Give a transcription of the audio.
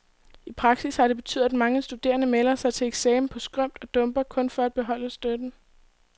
I praksis har det betydet, at mange studerende melder sig til eksamen på skrømt og dumper, kun for at beholde støtten.